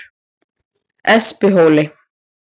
Espihóli